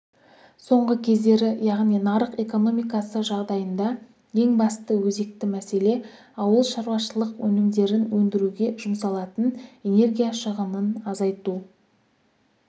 соңғы кездері яғни нарық экономикасы жағдайында ең басты өзекті мәселе ауыл шаруашылық өнімдерін өндіруге жұмсалатын энергия шығынын азайту